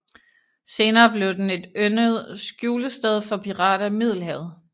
Senere blev den et yndet skjulested for pirater i Middelhavet